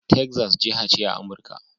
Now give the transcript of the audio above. Texas, jiha ce a Amurka.